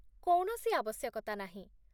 କୌଣସି ଆବଶ୍ୟକତା ନାହିଁ